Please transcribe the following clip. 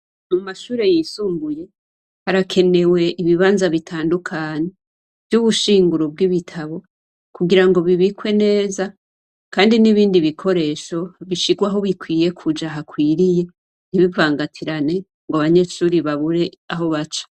Mu mashure yisumbuye harakenewe ibibanza bitandukanye vy'ubushinguro b'wibitabo, kugira ngo bibikwe neza kandi n'ibindi bikoresho bishigwe aho bikwiye kuja hakwiriye ntibivangatirane ngo abanyeshure babure aho baca.